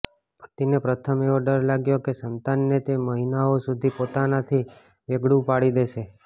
પતિને પ્રથમ એવો ડર લાગ્યો હતો કે સંતાનને તે મહિનાઓ સુધી પોતાનાથી વેગળુ પાડી દેશે